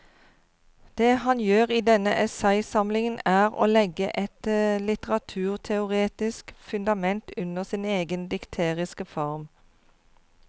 Det han gjør i denne essaysamlingen er å legge et litteraturteoretisk fundament under sin egen dikteriske form.